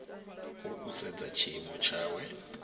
hu u sedza tshiimo tshawe